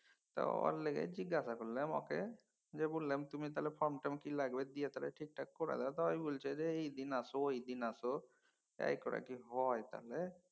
তা ওর লিগাই জিজ্ঞাসা করলাম ওকে যে বললাম তুমি তাহলে ফর্মটা কি লাগবে দিয়া তাহলে ঠিকঠাক করে দাও তায় বছে যে এইদিন আস ওইদিন আসো এই করা কি হয় তাহলে?